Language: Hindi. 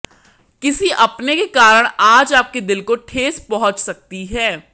किसी अपने के कारण आज आपके दिल को ठेस पहुंच सकती है